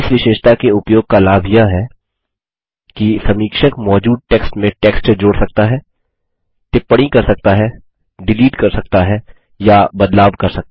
इस विशेषता के उपयोग का लाभ यह है कि समीक्षक मौजूद टेक्स्ट में टेक्स्ट जोड़ सकता है टिप्पणी कर सकता हैडिलीट कर सकता है या बदलाव कर सकता है